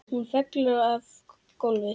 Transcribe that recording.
Hún fellur á gólfið.